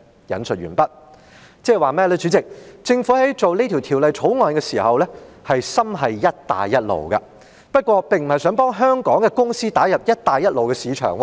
即政府在處理這項《條例草案》時，心繫"一帶一路"，不過，它並不是想幫香港公司打入"一帶一路"的市場，